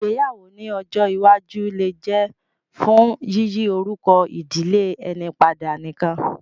Ìgbéyàwó ní ọjọ́ iwájú lè jẹ́ fún yíyí orúkọ ìdílé ẹni padà nìkan